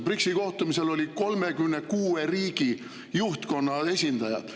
BRICS‑i kohtumisel olid 36 riigi juhtkonna esindajad.